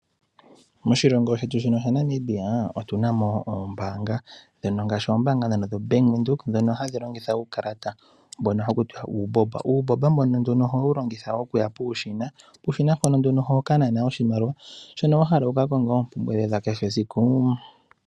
Moshilongo shetu sha Namibia otunamo oombanga ndhono ngashi ombaanga ya Venduka, ndhono hadhi longitha uukalata mbono hakutiwa uubomba . Uubomba mbuno ohawu longithwa okuya puushina, puushina mpono oho kanana oshimaliwa shono wahala wuka konge oompumbwe dhoye dha kehe esiku.